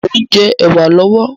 Mo ń jẹ́ ẹ̀wà lọ́wọ́